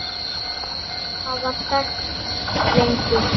Já, þær hafa þekkst lengi.